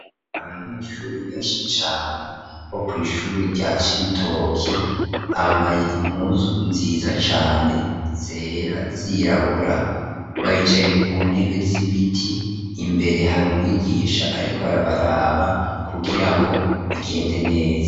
Abanyeshure benshi cane bo kw'ishure rya Cibitoke, bambaye impuzu nziza cane zera zirabura, baricaye ku ntebe z'ibiti, imbere hari umwigisha ariko arabaraba kugirango bigende neza.